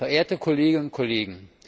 Verehrte Kolleginnen und Kollegen!